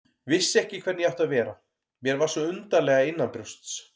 Vissi ekki hvernig ég átti að vera, mér var svo undarlega innanbrjósts.